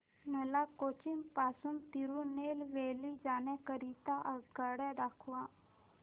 मला कोचीन पासून तिरूनेलवेली जाण्या करीता आगगाड्या दाखवा